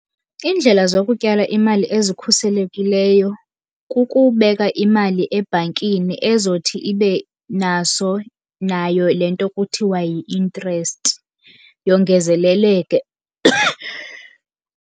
Iindlela zokutyala imali ezikhuselekileyo kukubeka imali ebhankini ezothi ibe naso nayo le nto kuthiwa yi-interest yongezeleleke.